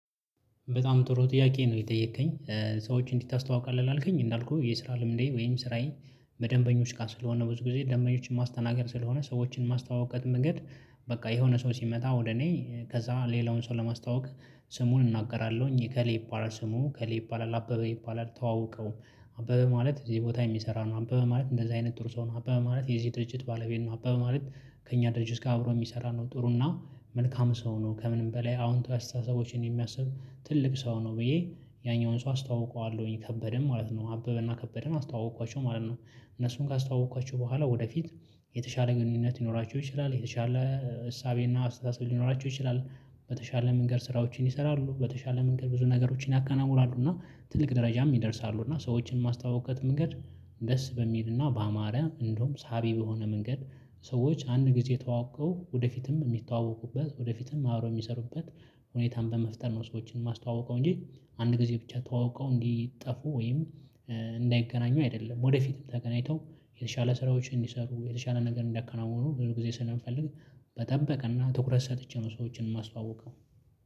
በጣም ጥሩ ጥያቄ ነው የጠየከኝ ሰዎች እንዴት ታስተዋውቃለህ? ላልኩኝ እንዳልኩህ የስራ ልምዴ ወይም ስራዬን በደንበኞች ጋር ስለሆነ ብዙ ጊዜ ደንበኞችን ማስተናገድ ስለሆነ ሰዎችን ማስተዋውቅበት መንገድ። በቃ የሆነ ሰው ሲመጣ ወደ እኔ ከዛ ሌላውን ሰው ለማስተዋወቅ ስሙን እናገራለሁኝ እከሌ ይባላል ስሙ እከሌ ይባላል አበበ ይባላል ተዋወቀው። አበበ ማለት እዚህ ቦታ የሚሰራ ነው አበበ ማለት እንደዚህ አይነት ጥሩ ሰው ነው። አበበ ማለት የዚህ ድርጅት ባለቤት ነው። አበበ ማለት ከእኛ ድርጅት ጋር አብሮ የሚሰራ ነው። ጥሩ እና መልካም ሰው ነው ከምንም በላይ አዎንታዊ አስተሳሰቦችን የሚያስብ ትልቅ ሰው ነው። ብዬ ያኛውን ሰው አስተዋውቀዋለሁኝ ከበደን ማለት ነው አበበና ከበደን አስተዋወቅኳቸው ማለት ነው። እነሱን ካስተዋወቅኳቸው በኋላ ወደፊት የተሻለ ግንኙነት ሊኖራቸው ይችላል የተሻለ እሳቤና አስተሳሰብ ሊኖራቸው ይችላል። በተሻለ መንገድ ስራዎችን ይሰራሉ በተሻለ መንገድ ብዙ ነገሮችን ያከናውናሉ እና ትልቅ ደረጃም ይደርሳሉ እና ሰዎችን ማስተዋውቅበት መንገድ። ደስ በሚልና በአማረ እንደውም ሳቢ በሆነ መንገድ ሰዎች አንድ ጊዜ ተዋቅቀው ወደፊትም የሚተዋወቁበት ወደፊትም አብረው የሚሰሩበት ሁኔታን በመፍጠር ነው። ሰዎችን የማስተዋውቀው እንጂ አንድ ጊዜ ብቻ ተዋውቀው እንዲጠፉ ወይም እንዳይገናኙ አይደለም። ወደፊትም ተገናኝተው የተሻለ ስራዎችን እንዲሰሩ የተሻለ ነገር እንዲያከናውኑ ብዙ ጊዜ ስለምፈልግ። በጠበቀና ትኩረት ሰጥቼ ነው ሰዎችን የማስተዋውቀው።